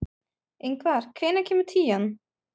Ingvar, hvenær kemur tían?